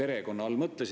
Aitäh küsimuse eest!